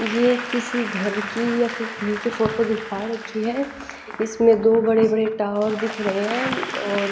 ये किसी घर की या फिर कहीं की फोटो दिखा रखी है इसमें दो बड़े बड़े टावर दिख रहे हैं और --